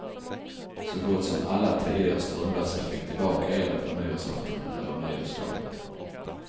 Så gott som alla tidigare strömlösa fick tillbaka elen på nyårsaftonen eller nyårsdagen.